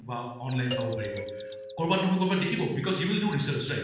ৱা online চাব পাৰিব কৰবাত নহয় কৰবাত দেখিব because he will do research right